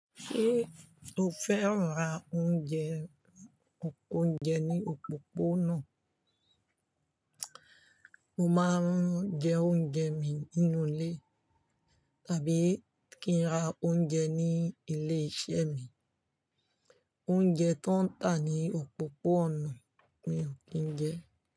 Ṣé o fẹ́ran ra oúnjẹ ounje òpópónà? Mo máa ń jẹ oúnjẹ mi nínú ilé tàbí kí n ra oúnjẹ ní ilé iṣẹ́ mi. Oúnjẹ tó ń tà ní òpópónà mi ò kí n jẹ.